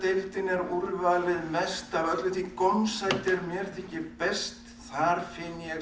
er úrvalið mest af öllu því gómsæti er mér þykir best þar finn ég